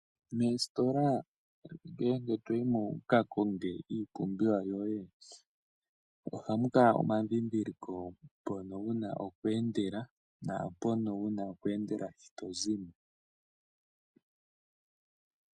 Moositola ngele toyimo wukakonge iipumbiwa yoye , ohamu kala muna omandhindhiliko mpono wuna okweendela, naampono wuna okweendela shi tozi mo.